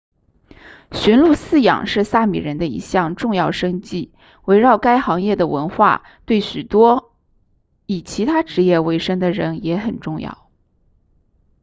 驯鹿饲养是萨米人的一项重要生计围绕该行业的文化对许多以其他职业为生的人也很重要